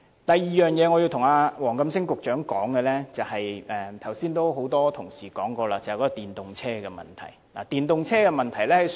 我要對黃錦星局長說的第二點，很多同事剛才也說過了，就是電動車的問題。